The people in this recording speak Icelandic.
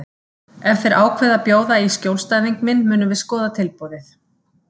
Ef þeir ákveða að bjóða í skjólstæðing minn munum við skoða tilboðið